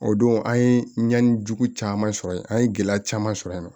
O don an ye ɲɛnni jugu caman sɔrɔ yen an ye gɛlɛya caman sɔrɔ yen nɔ